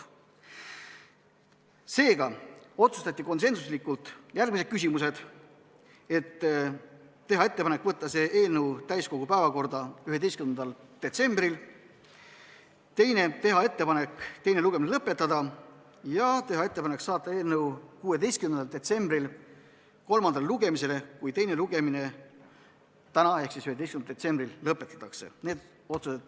Seega otsustati konsensuslikult järgmised küsimused: teha ettepanek saata see eelnõu täiskogu päevakorda 11. detsembriks, teha ettepanek teine lugemine lõpetada ja teha ettepanek saata eelnõu 16. detsembriks kolmandale lugemisele, kui teine lugemine täna ehk 11. detsembril lõpetatakse.